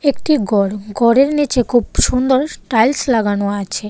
একটি গর গরের নীচে খুব সুন্দর টাইলস লাগানো আছে।